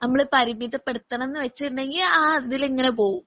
നമ്മള് പരിമിതപ്പെടുത്തണം എന്ന് വെച്ചിട്ടുണ്ടെങ്കി ആ അതിലിങ്ങനെ പോകും.